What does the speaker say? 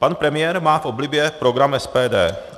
Pan premiér má v oblibě program SPD.